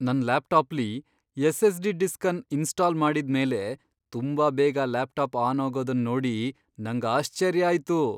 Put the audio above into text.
ನನ್ ಲ್ಯಾಪ್ಟಾಪ್ಲಿ SSD disk ಅನ್ ಇನ್ಸ್ಟಾಲ್ ಮಾಡಿದ್ ಮೇಲೆ ತುಂಬಾ ಬೇಗ ಲ್ಯಾಪ್ಟಾಪ್ ಆನ್ ಆಗೋದನ್ ನೋಡಿ ನಂಗ್ ಆಶ್ಚರ್ಯ ಆಯ್ತು.